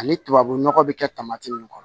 Ani tubabu nɔgɔ bɛ kɛ min kɔnɔ